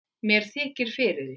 Mér þykir fyrir því.